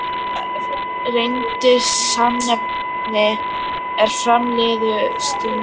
Þetta reyndist sannnefni, er fram liðu stundir.